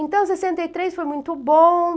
Então, sessenta e três foi muito bom.